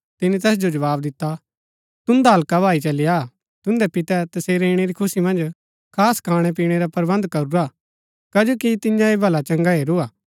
तिनी तैस जो जवाव दिता तुन्दा हल्का भाई चली आ तुन्दै पितै तसेरै ईणै री खुशी मन्ज खास खाणै पीणै रा प्रबन्ध करूरा हा कजो कि तियें ऐह भला चंगा हैरू हा